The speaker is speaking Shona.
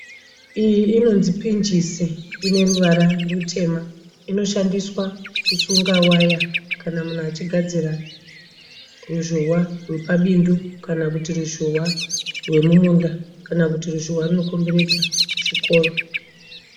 Iyo inonzi pinjisi ineruvara rutema inoshandiswa kusunga waya kana munhu achigadzira ruzhowa rwepabindu kana kuti ruzhowa rwemumunda kana kuti ruzhowa rwunokomberedza chikoro.